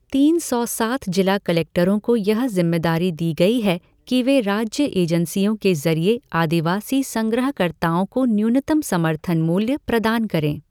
तीन सौ सात जिला कलेक्टरों को यह ज़िम्मेदारी दी गई है कि वे राज्य एजेंसियों के जरिये आदिवासी संग्रहकर्ताओं को न्यूनतम समर्थन मूल्य प्रदान करें।